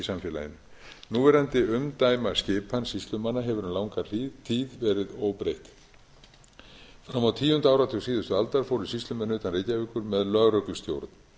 samfélaginu núverandi umdæmaskipan sýslumanna hefur um langa hríð verið óbreytt fram á tíu áratug síðustu aldar fóru sýslumenn utan reykjavíkur með lögreglustjórn